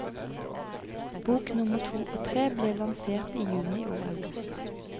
Bok nummer to og tre ble lansert i juni og august.